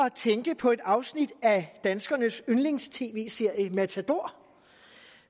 at tænke på et afsnit af danskernes yndlings tv serie matador